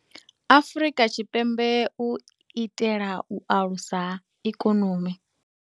Afrika Tshipembe u itela u alusa ikonomi.